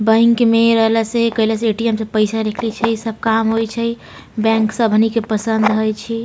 Bank मे इ रहला से केएला से ए.टी.एम. से पैसा निकाएले छै सब काम होय छै बैंक सब हमनी के पसंद हेय छै ।